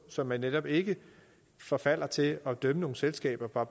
så man netop ikke forfalder til at dømme nogle selskaber